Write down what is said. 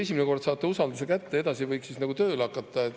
Esimene kord saate usalduse kätte, edasi võiks nagu tööle hakata.